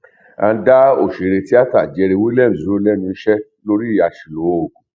agn dá òṣèré tíátà jerry williams dúró lẹnu iṣẹ lórí àṣìlò oògùn